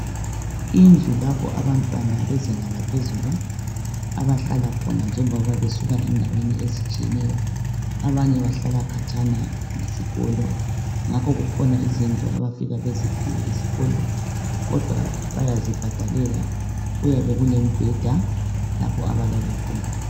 Indlu lapho abantwana bezinga laphezulu abahlala khona njengoba besuka endaweni ezitshiyeneyo. Abanye bahlala khatshana lesikolo ngakho kukhona izindlu abafika baziphiwe esikolo kodwa bayazibhadalela kuyabe kulemibheda lapho abalala khona.